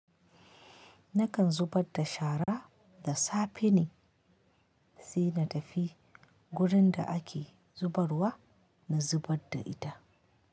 Nakan zubar da shara da safe ne sai na tafi gurin da ake zubarwa na zubar da ita.